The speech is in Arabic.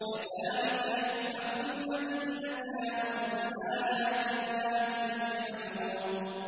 كَذَٰلِكَ يُؤْفَكُ الَّذِينَ كَانُوا بِآيَاتِ اللَّهِ يَجْحَدُونَ